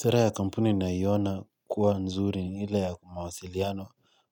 Sera ya kampuni naiona kuwa nzuri ni ile ya mawasiliano